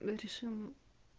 решим